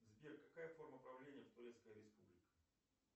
сбер какая форма правления в турецкой республике